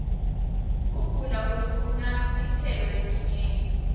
kugula kufuna titselo ietinyenti